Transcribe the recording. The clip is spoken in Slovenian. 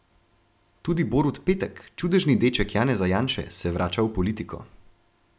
Tudi Borut Petek, čudežni deček Janeza Janše, se vrača v politiko.